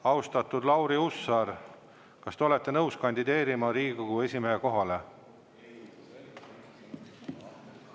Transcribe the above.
Austatud Lauri Hussar, kas te olete nõus kandideerima Riigikogu esimehe kohale?